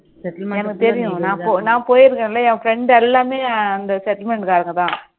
எனக்கு தெரியும் நான் போயிருக்கேன்ல என் friend எல்லாமே அங்க காரங்க தான்